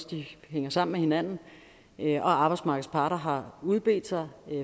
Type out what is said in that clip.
de hænger sammen med hinanden og arbejdsmarkedets parter har udbedt sig